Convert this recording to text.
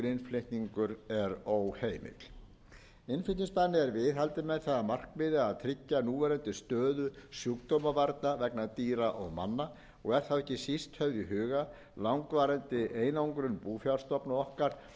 innflutningur er óheimill innflutningsbanni er viðhaldið með það að markmiði að tryggja núverandi stöðu sjúkdómavarna vegna dýra og manna og er þá ekki síst höfð í huga langvarandi einangrun búfjárstofna okkar